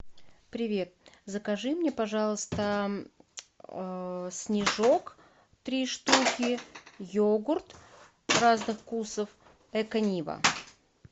привет закажи мне пожалуйста снежок три штуки йогурт разных вкусов эконива